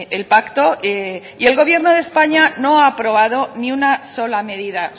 el pacto y el gobierno de españa no ha aprobado ni una sola medida